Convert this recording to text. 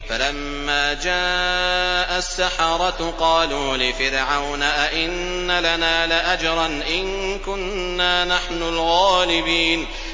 فَلَمَّا جَاءَ السَّحَرَةُ قَالُوا لِفِرْعَوْنَ أَئِنَّ لَنَا لَأَجْرًا إِن كُنَّا نَحْنُ الْغَالِبِينَ